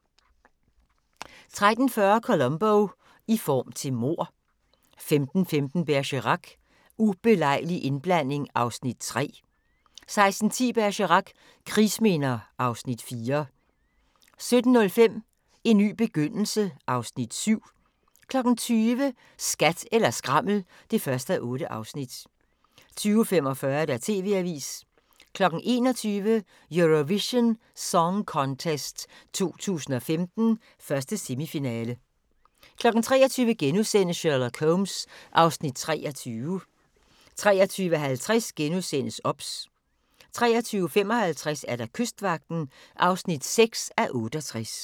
13:40: Columbo: I form til mord 15:15: Bergerac: Ubelejlig indblanding (Afs. 3) 16:10: Bergerac: Krigsminder (Afs. 4) 17:05: En ny begyndelse (Afs. 7) 20:00: Skat eller skrammel (1:8) 20:45: TV-avisen 21:00: Eurovision Song Contest 2015, 1. semifinale 23:00: Sherlock Holmes (Afs. 23)* 23:50: OBS * 23:55: Kystvagten (6:68)